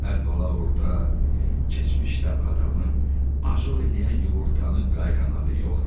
Əvvəla orda keçmişdə adamı acıq eləyən yumurtanın qayğanağı yox idi.